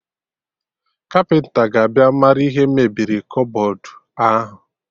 Kapịnta ga-abịa marụ ihe mebiri kọbọd ahụ